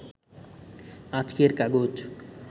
আজকের কাগজ